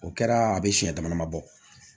O kɛra a bɛ siɲɛ dama dama bɔ